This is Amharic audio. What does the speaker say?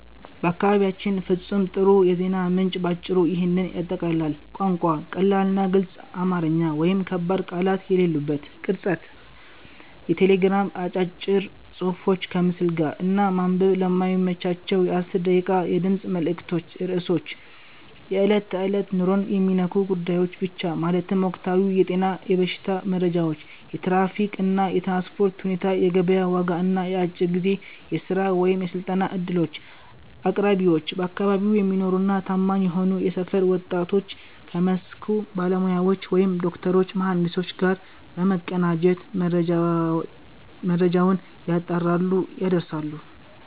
ለአካባቢያችን ፍጹም ጥሩ የዜና ምንጭ ባጭሩ ይህንን ያጠቃልላል፦ ቋንቋ፦ ቀላልና ግልጽ አማርኛ (ከባድ ቃላት የሌሉበት)። ቅርጸት፦ የቴሌግራም አጫጭር ጽሑፎች ከምስል ጋር፣ እና ማንበብ ለማይመቻቸው የ1 ደቂቃ የድምፅ መልዕክቶች ርዕሶች፦ የዕለት ተዕለት ኑሮን የሚነኩ ጉዳዮች ብቻ፤ ማለትም ወቅታዊ የጤና/የበሽታ መረጃዎች፣ የትራፊክ እና የትራንስፖርት ሁኔታ፣ የገበያ ዋጋ እና የአጭር ጊዜ የሥራ/የስልጠና ዕድሎች። አቅራቢዎች፦ በአካባቢው የሚኖሩና ታማኝ የሆኑ የሰፈር ወጣቶች ከመስኩ ባለሙያዎች (ዶክተሮች፣ መሐንዲሶች) ጋር በመቀናጀት መረጃውን ያጣራሉ፣ ያደርሳሉ።